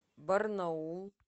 барнаул